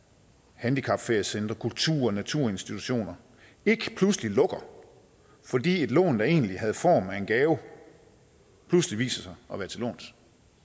handicapferiecentre kultur og naturinstitutioner ikke pludselig lukker fordi et lån der egentlig havde form af en gave pludselig viser sig at være til låns